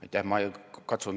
Aitäh!